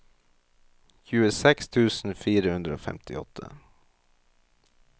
tjueseks tusen fire hundre og femtiåtte